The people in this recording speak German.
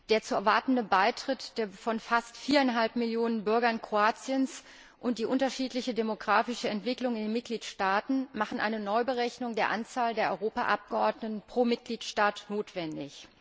Der zu erwartende Beitritt der fast viereinhalb Millionen Bürger Kroatiens und die unterschiedliche demografische Entwicklung in den Mitgliedstaaten machen eine Neuberechnung der Anzahl der Europaabgeordneten pro Mitgliedstaat notwendig.